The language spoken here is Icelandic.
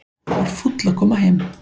Var fúll að koma heim